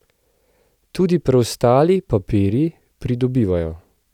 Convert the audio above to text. Tudi preostali papirji pridobivajo.